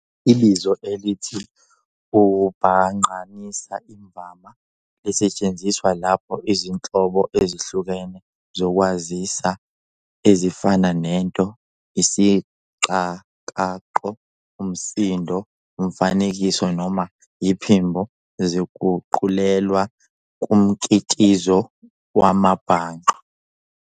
Ibizo elithi ukubhangqanisa imvama lisetshenziswa lapho izinhlobo ezihlukene zokwaziswa, ezifana nento, isiqakaqo, umsindo, umfanekiso, noma iphimbo, ziguqulelwa kumkitizo wamabhangqa.